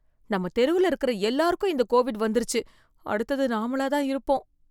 நம்ம தெருவுல இருக்கற எல்லாருக்கும் இந்த கோவிட் வந்துருச்சு, அடுத்தது நாமளா தான் இருப்போம்.